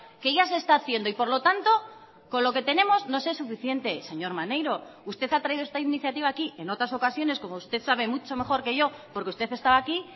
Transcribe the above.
que ya se está haciendo y por lo tanto con lo que tenemos nos es suficiente señor maneiro usted ha traído esta iniciativa aquí en otras ocasiones como usted sabe mucho mejor que yo porque usted estaba aquí